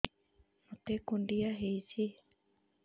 ମୋତେ କୁଣ୍ଡିଆ ହେଇଚି